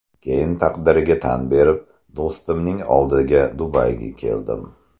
Keyin taqdirga tan berib, do‘stimning oldiga Dubayga keldim.